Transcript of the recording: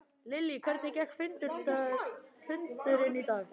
Lillý, hvernig gekk fundurinn í dag?